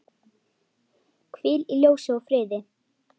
Hvíl í ljósi og friði.